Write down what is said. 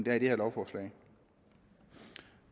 er i det her lovforslag